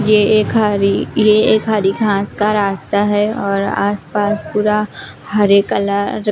ये एक हरी ये एक हरी घांस का रास्ता है और आसपास पूरा हरे कलर --